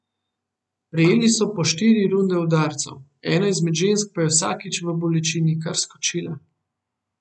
Prejeli so po štiri runde udarcev, ena izmed žensk pa je vsakič v bolečini kar skočila.